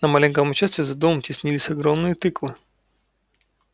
на маленьком участке за домом теснились огромные тыквы